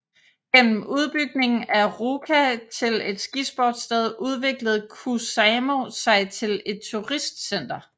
Gennem udbygningen af Ruka til et skisportssted udviklede Kuusamo sig til et turistcenter